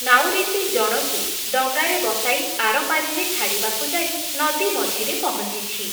ନାଉରୀଟି ଜଣକୁ ଡଙ୍ଗାରେ ବସାଇ ଆରପାରିରେ ଛାଡ଼ିବାକୁ ଯାଇ ନଦୀ ମଝିରେ ପହଞ୍ଚିଛି ।